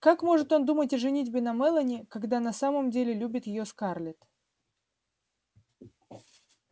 как может он думать о женитьбе на мелани когда на самом-то деле любит её скарлетт